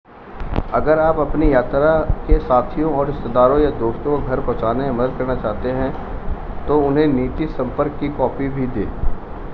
अगर आप अपनी यात्रा के साथियों और रिश्तेदारों या दोस्तों को घर पहुँचाने में मदद करना चाहते हैं तो उन्हें नीति/संपर्क की कॉपी भी दें